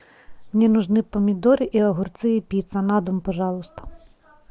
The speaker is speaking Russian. мне нужны помидоры и огурцы и пицца на дом пожалуйста